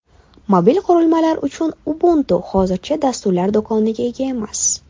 Mobil qurilmalar uchun Ubuntu hozircha dasturlar do‘koniga ega emas.